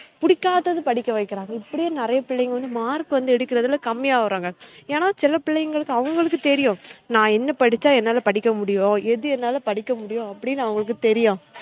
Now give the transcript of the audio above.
புடிக்காதது படிக்க வைக்குறாங்க இப்டி நிறைய பிள்ளைங்க வந்து mark வந்து எடுக்குறதுல கம்மியா வராங்க ஏன்னா சில பிள்ளைங்களுக்கு அவுங்களுக்கு தெறியும் நான் என்ன படிச்சா என்னால படிக்க முடியும் எது என்னால படிக்க முடியும் அவங்களுக்கு தெரியும்